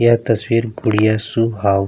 यह तस्वीर गुड़िया शुभ हाउ --